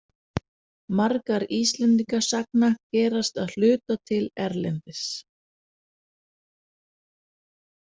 Margar Íslendingasagna gerast að hluta til erlendis.